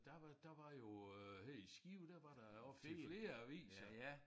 Der var der var jo øh her i Skive der var der ofte flere aviser